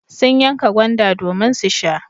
Sun yanka gwanda domin su sha.